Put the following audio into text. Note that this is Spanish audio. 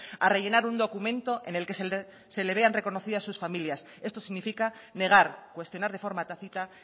a rellenar un documento en el que se le vean reconocidas sus familias esto significa negar cuestionar de forma tácita